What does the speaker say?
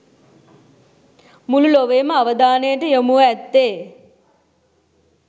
මුළු ලොවේම අවධානයට යොමුව ඇත්තේ